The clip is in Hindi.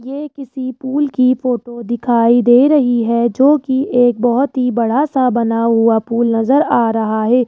ये किसी पुल की फोटो दिखाई दे रही है जो की एक बहुत ही बड़ा सा बना हुआ पुल नजर आ रहा है।